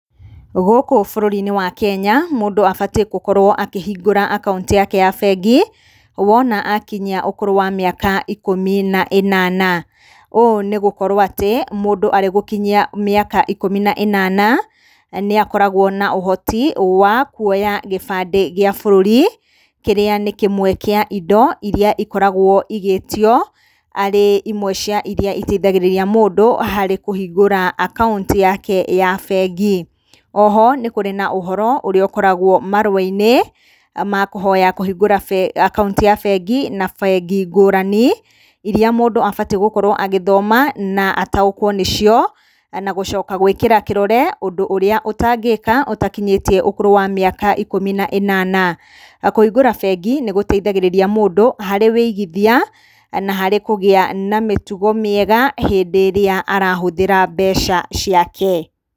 Gũkũ bũrũri-inĩ wa Kenya, mũndũ abatiĩ gũkorwo akĩhingũra akaũnti yake ya bengi, wona akinyia ũkũrũ wa mĩaka ikũmi na ĩnana. Ũũ nĩ gũkorwo atĩ, mũndũ arĩgũkinyia mĩaka ikũmi na ĩnana, nĩakoragwo na ũhoti wa kuoya gĩbandĩ gĩa bũrũri. Kĩrĩa nĩ kĩmwe kĩa indo iria ikoragwo igĩtio arĩ imwe cia iria iteithagĩrĩria mũndũ harĩ kũhingũra akaũnti yake bengi. Oho, nĩ kũrĩ na ũhoro ũrĩa ũkoragwo marũwa-inĩ, makũhoya kũhingũra akaũnti ya bengi, na bengi ngũrani, iria mũndũ abatiĩ gũkorwo agĩthoma, na ataũkwo nĩcio, na gũcoka gũĩkĩra kĩrore ũndũ ũrĩa ũtangĩka ũtakinyĩtie ũkũrũ wa mĩaka ikũmi na ĩnana. Kũhingũra bengĩ nĩ gũteithagĩrĩria mũndũ harĩ ũigithia, na harĩ kũgĩa na mĩtugo mĩega, hĩndĩ ĩrĩa arahũthĩra mbeca ciake.